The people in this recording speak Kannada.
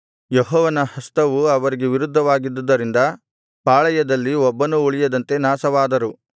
ಯೆಹೋವನ ಹಸ್ತವು ಅವರಿಗೆ ವಿರುದ್ಧವಾಗಿದ್ದುದರಿಂದ ಪಾಳೆಯದಲ್ಲಿ ಒಬ್ಬನೂ ಉಳಿಯದಂತೆ ನಾಶವಾದರು